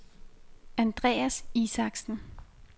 Andreas Isaksen